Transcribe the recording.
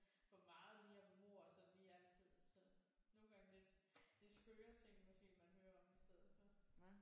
For meget lige af mord og sådan lige altid sådan nogle gange lidt det er skøre ting måske man hører om i stedet for